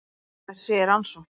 Það sé í rannsókn